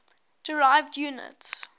derived units